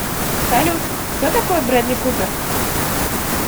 салют кто такой брэдли купер